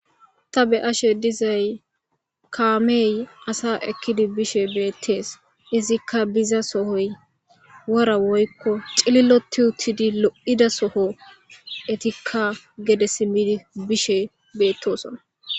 Ta be ashe dizay kaamey asa ekkidi bishe beettees izikka biza sohoy wora woykko xililoti uttidi lo'ida soho etikka gede simmidi bishe beettosona.